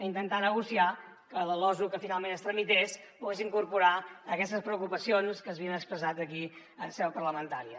intentar negociar que la losu que finalment es tramités pogués incorporar aquestes preocupacions que s’havien expressat aquí en seu parlamentària